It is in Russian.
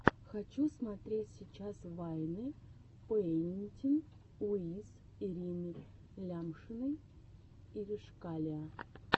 хочу смотреть сейчас вайны пэинтин уиз ирины лямшиной иришкалиа